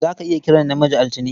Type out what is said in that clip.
Za ka iya kiran namiji Altine.